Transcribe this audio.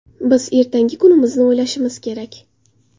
Biz ertangi kunimizni o‘ylashimiz kerak.